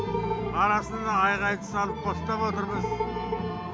арасын айғайды салып қостап отырмыз